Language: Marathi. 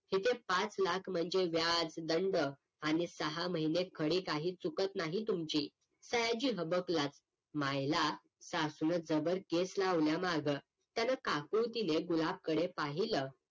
तिथं पाच लाख म्हणजे व्याज दंड आणि सहा महिने खडी काही चुकत नाही तुमची सयाजी हबकलाच मायला सासूनं जबर केस लावला माग त्याने काकळूतीने गुलाब कडे पाहिलं